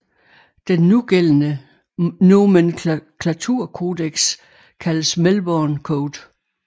Den nugældende nomenklaturcodex kaldes Melbourne Code